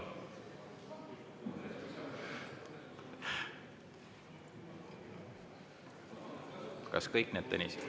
Aitäh!